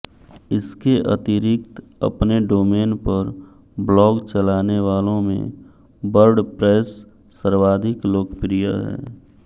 इसके अतिरिक्त अपने डोमेन पर ब्लॉग चलाने वालों में वर्डप्रैस सर्वाधिक लोकप्रिय है